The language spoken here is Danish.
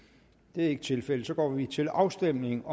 det er ikke tilfældet så går vi til afstemning